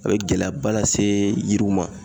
A bɛ gɛlɛyaba lase yiriw ma